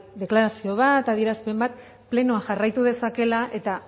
deklarazio bat adierazpen bat plenoak jarraitu dezakeela eta